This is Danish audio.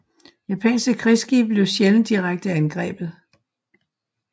Japanske krigsskibe blev sjældent direkte angrebet